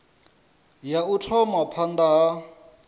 ya u thoma phanda ha